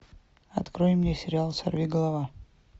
открой мне сериал сорвиголова